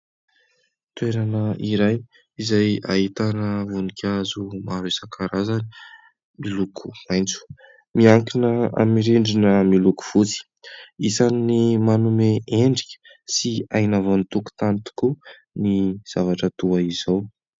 Toerana iray izay ahitana voninkazo maro isan-karazany miloko maitso, miankina amin'ny rindrina miloko fotsy, isan'ny manome endrika sy aina vao ny tokontany tokoa ny zavatra toa izao.